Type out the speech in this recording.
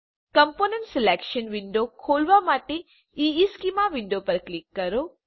component selection window ખોલવા માટે ઇશ્ચેમાં વિન્ડો પર ક્લિક કરો